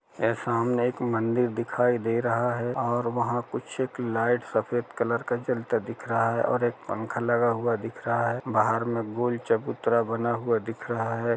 ये सामने एक मंदिर दिखाई दे रहा है और वहाँ कुछ एक लाइट सफेद कलर का जलता दिख रहा है और एक पंखा लगा हुआ दिख रहा है बाहर में गोल चबूतरा बना हुआ दिख रहा हैं।